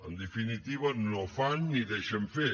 en definitiva no fan ni deixen fer